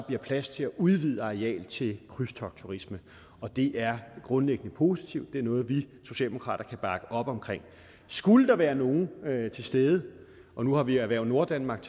bliver plads til at udvide arealet til krydstogtturisme det er grundlæggende positivt det er noget vi socialdemokrater kan bakke op om skulle der være nogen til stede nu har vi erhverv norddanmark